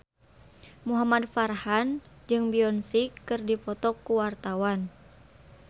Muhamad Farhan jeung Beyonce keur dipoto ku wartawan